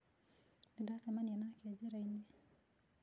Nĩ ndacemania nake njĩra-inĩ.